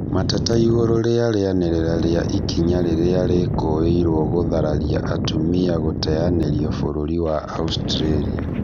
Mateta igũrũ rĩa rĩanĩrĩra ria ikinya rĩrĩa rĩkũirwo gũtharario atumia gũteanĩrio bũrũri wa Australia